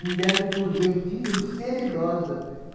Me deram um purgantinho de sela e rosa.